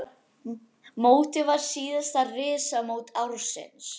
Mótið var síðasta risamót ársins.